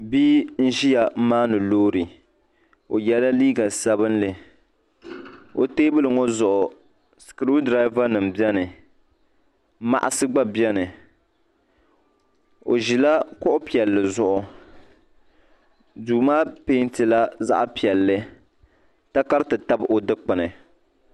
Bia n-ʒiya m-maani loori o yela liiga sabinli o teebuli ŋɔ zuɣu skiriu dirava nima beni maɣisi gba beni o ʒila kuɣ' piɛlli zuɣu duu maa pɛnti la zaɣ' piɛlli takariti tabi o dukpuni.